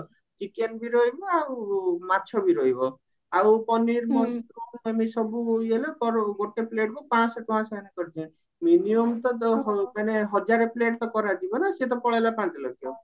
chicken ବି ରହିବ ଆଉ ମାଛ ବି ରହିବ ଆଉ ପନିର mushroom ଆଉ ଏମିତି ସବୁ ଇଏ ହେଲେ ପର ଗୋଟେ plate କୁ ପାଂଶହ ଟଙ୍କା ସେମାନେ କରିଛନ୍ତି minimum ତ ମାନେ ହଜାରେ plate ତ କରାଯିବା ନା ସିଏ ତ ପଳେଇଲା ପାଞ୍ଚ ଲକ୍ଷ